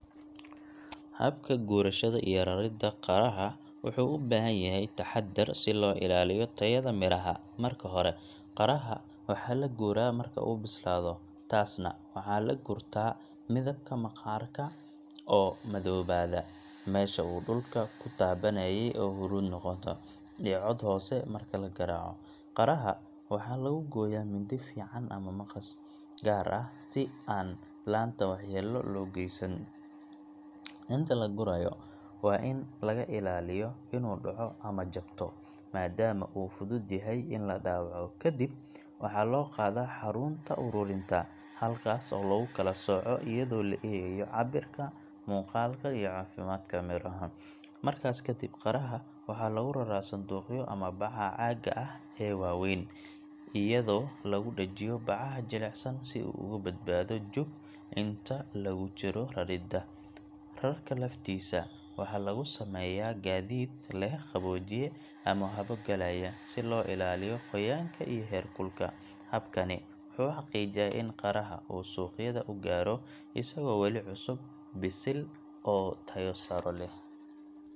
Habka gurashada iyo raridda qaraha wuxuu u baahan yahay taxaddar si loo ilaaliyo tayada miraha. Marka hore, qaraha waxaa la guraa marka uu bislaado, taasna waxaa lagu gartaa midabka maqaarka oo madoobaada, meesha uu dhulka ku taabanayay oo huruud noqota, iyo cod hoose marka la garaaco. Qaraha waxaa lagu gooyaa mindi fiiqan ama maqas gaar ah si aan laanta waxyeello loo geysan. Inta la gurayo, waa in laga ilaaliyo inuu dhaco ama jabto, maadaama uu fudud yahay in la dhaawaco. Ka dib, waxaa loo qaadaa xarunta ururinta, halkaas oo lagu kala sooco iyadoo la eegayo cabbirka, muuqaalka, iyo caafimaadka midhaha. Markaas kadib, qaraha waxaa lagu raraa sanduuqyo ama bacaha caagga ah ee waaweyn, iyadoo lagu dhejiyo bacaha jilicsan si uu uga badbaado jug inta lagu jiro raridda. Rarka laftiisa waxaa lagu sameeyaa gaadiid leh qaboojiye ama hawo galaya, si loo ilaaliyo qoyaanka iyo heerkulka. Habkani wuxuu xaqiijiyaa in qaraha uu suuqyada u gaaro isagoo weli cusub, bisil, oo tayo sare leh.